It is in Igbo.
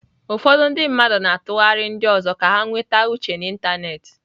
Ụfọdụ ndị mmadụ na-atụgharị ndị ọzọ ka ha nweta uche n'ịntanetị.